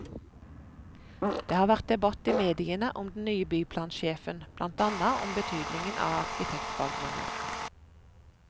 Det har vært debatt i mediene om den nye byplansjefen, blant annet om betydningen av arkitektbakgrunn.